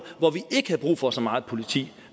hvor vi ikke havde brug for så meget politi